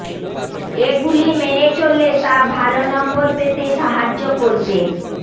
এগুলি মেনে চললে তা ভাল নম্বর পেতে সাহায্য করবে